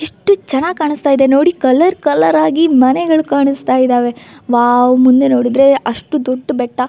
ಇಷ್ಟು ಚನ್ನಾಗಿ ಕಾಣಸ್ತಾ ಇದೆ ನೋಡಿ ಕಲರ್ ಕಲರ್ ಆಗಿ ಮನೆಗಳು ಕಾಣಸ್ತಾ ಇದಾವೆ ವಾವ್ ಮುಂದೆ ನೋಡಿದ್ರೆ ಅಷ್ಟು ದೊಡ್ಡ ಬೆಟ್ಟಾ.